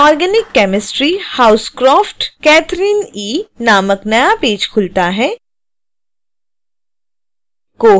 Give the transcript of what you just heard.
inorganic chemistry housecroft catherine e नामक नया page खुलता है